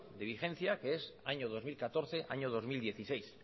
de vigencia que es año dos mil catorce año dos mil dieciséis